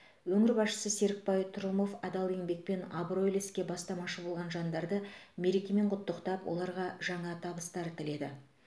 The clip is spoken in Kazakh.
өңір басшысы серікбай трұмов адал еңбекпен абыройлы іске бастамашы болған жандарды мерекемен құттықтап оларға жаңа табыстар тіледі